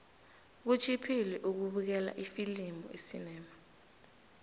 kutjhiphile ukubukela ifilimu esinema